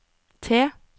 T